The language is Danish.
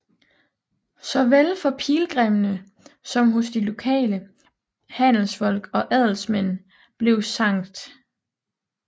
Såvel for pilgrimmene som hos de lokale handelsfolk og adelsmænd blev Skt